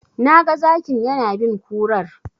Na ga Zakin yana bin kurar.